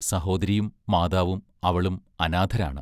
സഹോദരിയും മാതാവും അവളും അനാഥരാണ്.